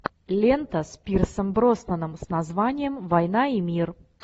лента с пирсом броснаном с названием война и мир